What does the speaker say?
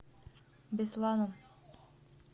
бесланом